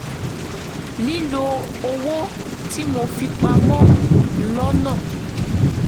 lílo owó tí mo fi pa mọ́ lọ́nà